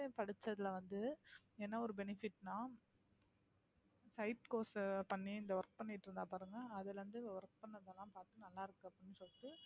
படிச்சதுல வந்து என்ன ஒரு benefit னா side course அ பண்ணி இந்த work பண்ணிட்டு இருந்தா பாருங்க அதுல இருந்து work பண்ணதெல்லாம் பார்த்து நல்லா இருக்கு அப்படின்னு சொல்லிட்டு